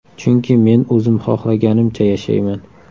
Chunki men o‘zim xohlaganimcha yashayman.